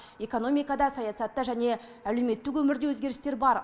экономикада саясатта және әлеуметтік өмірде өзгерістер бар